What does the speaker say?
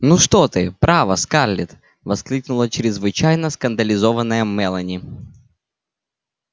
ну что ты право скарлетт воскликнула чрезвычайно скандализованная мелани